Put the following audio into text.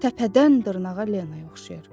Təpədən dırnağa Lenaya oxşayar.